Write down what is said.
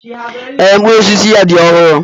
Ee, mkpụrụ osisi ya dị ọhụrụ.